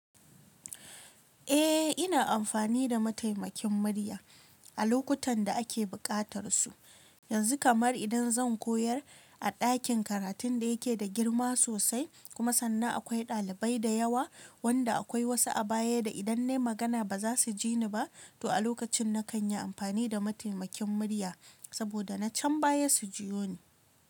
Eh, ina amfani da mataimakin murya a lokutan da ake buƙatar su. Yanzu kamar idan zan koyar a ɗakin karatun da yake da girma sosai kuma sannan akwai ɗalibai da yawa wanda akwai wasu a baya da idan na yi magana ba za su ji ni ba. To a lokacin na kan yi amfani da mataimakin murya saboda na can baya su jiyo ni.